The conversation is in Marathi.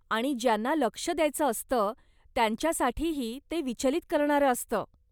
आणि ज्यांना लक्ष द्यायचं असतं, त्यांच्यासाठीही ते विचलीत करणारं असतं.